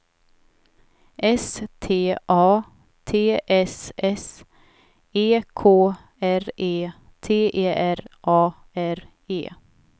S T A T S S E K R E T E R A R E